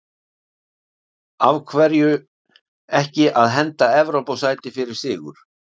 Af hverju ekki að henda Evrópusæti fyrir sigur?